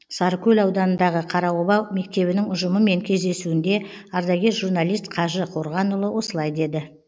сарыкөл ауданындағы қараоба мектебінің ұжымымен кездесуінде ардагер журналист қажы қорғанұлы осылай деді